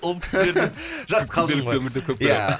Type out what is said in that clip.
ол кісілерді жақсы қалжың ғой ия күнделікті өмірде көп көремін